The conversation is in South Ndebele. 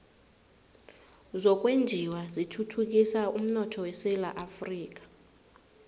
zokwenjiwa zithuthukisa umnotho esewula afrika